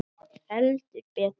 Heldur betur.